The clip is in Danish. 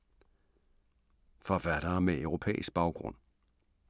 Forfattere med europæisk baggrund